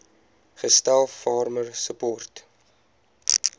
gestel farmer support